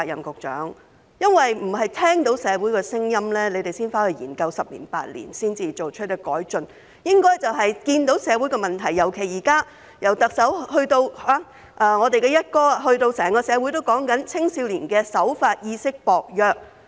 局長，局方不應聽到社會有聲音才回去研究十年、八年，然後再作出改進，而是應該在看到社會出現問題，尤其是現在特首、"一哥"以至整個社會都在討論青少年守法意識薄弱......